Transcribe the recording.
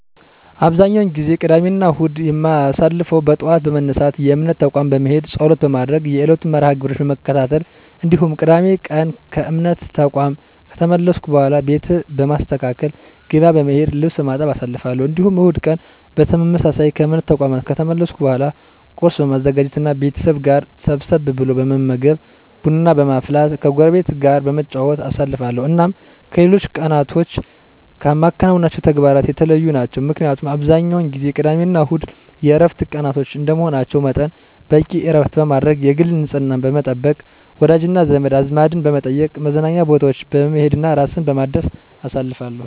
አብዛኛውን ጊዜ ቅዳሜና እሁድን የማሳልፈው በጠዋት በመነሳት የእምነት ተቋም በመሄድ ፀሎት በማድረግ የዕለቱን መርሐ -ግብሮች በመከታተል እንዲሁም ቅዳሜ ቀን ከእምነት ተቋም ከተመለስኩ በኃላ ቤት በማስተካከል፣ ገበያ በመሄድ፣ ልብስ በማጠብ አሳልፋለሁ። እንዲሁም እሁድ ቀን በተመሳሳይ ከእምነት ተቋም ከተመለስኩ በኃላ ቁርስ በማዘጋጀት እና ከቤተሰብ ጋር ሰብሰብ ብሎ በመመገብ፣ ቡና በማፍላት ከጎረቤት ጋር በመጨዋወት አሳልፋለሁ። እናም ከሌሎች ቀናቶች ከማከናውናቸው ተግባራት የተለዩ ናቸው። ምክንያቱም አብዛኛውን ጊዜ ቅዳሜና እሁድ የዕረፍት ቀናቶች እንደመሆናቸው መጠን በቂ ዕረፍት በማድረግ፣ የግል ንፅህናን በመጠበቅ፣ ወዳጅና ዘመድ አዝማድን በመጠየቅ፣ መዝናኛ ቦታዎች በመሄድ እና ራስን በማደስ አሳልፋለሁ።